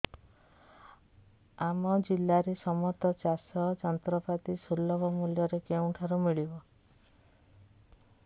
ଆମ ଜିଲ୍ଲାରେ ସମସ୍ତ ଚାଷ ଯନ୍ତ୍ରପାତି ସୁଲଭ ମୁଲ୍ଯରେ କେଉଁଠାରୁ ମିଳିବ